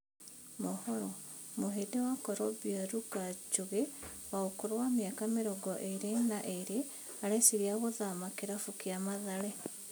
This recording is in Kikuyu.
(Mohoro) Mũhĩndi wa Corobea Ruka Njũgĩ wa ũkũrũ wa mĩaka mĩrongo ĩrĩ na ĩrĩ arecirĩa gũthama kĩrabu gĩa Mathare.